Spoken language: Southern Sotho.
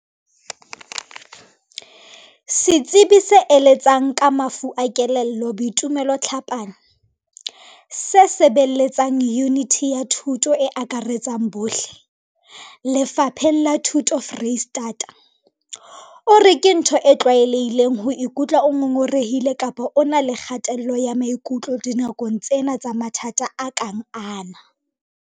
Setsebi se eletsang ka mafu a kelello Boitumelo Tlhapane, se sebeletsang Yuniti ya Thuto e Akaretsang bohle, Lefapheng la Thuto Freistata, o re ke ntho e tlwaelehileng ho ikutlwa o ngongorehile kapa o na le kgatello ya maikutlo dinakong tsena tsa mathata a kang ana.